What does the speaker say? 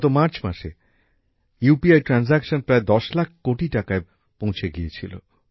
গত মার্চ মাসে ইউপিআই এর মাধ্যমে আর্থিক লেনদেন প্রায় দশ লাখ কোটি টাকায় পৌঁছে গিয়েছিল